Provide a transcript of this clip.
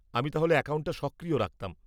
-আমি তাহলে অ্যাকাউন্টটা সক্রিয় রাখতাম।